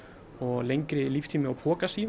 og lengri líftími á